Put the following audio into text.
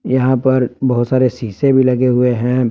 यहां पर बहुत सारे शीशे भी लगे हुए हैं।